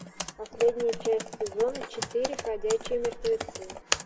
последняя часть сезона четыре ходячие мертвецы